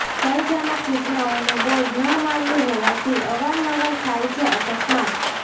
ભયજનક સૂચનાઓનુ બોર્ડ ન માર્યું હોવાથી અવારનવાર થાય છે અકસ્માત